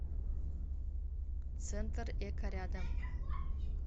центр эко рядом